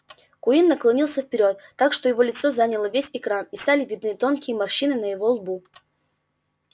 куинн наклонился вперёд так что его лицо заняло весь экран и стали видны тонкие морщины на его лбу